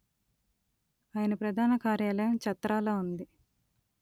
ఆయన ప్రధాన కార్యాలయం చత్రాలో ఉంది